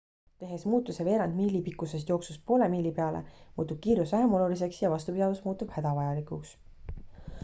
tehes muutuse veerandi miili pikkusest jooksust poole miili peale muutub kiirus vähem oluliseks ja vastupidavus muutub hädavajalikuks